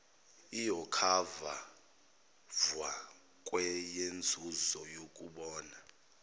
iyokhavwa kweyenzuzo yokubona